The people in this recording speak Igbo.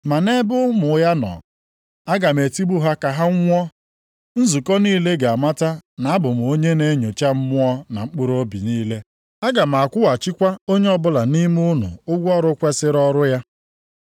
Ma nʼebe ụmụ ya nọ, aga m etigbu ha ka ha nwụọ. Nzukọ niile ga-amata na abụ m onye na-enyocha mmụọ na mkpụrụobi niile. Aga m akwụghachikwa onye ọbụla nʼime unu ụgwọ ọrụ kwesiri ọrụ ya.